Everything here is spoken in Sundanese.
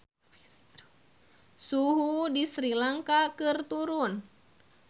Suhu di Sri Lanka keur turun